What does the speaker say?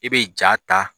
I bɛ ja ta